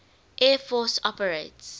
air force operates